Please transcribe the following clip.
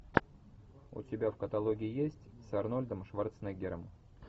у тебя в каталоге есть с арнольдом шварценеггером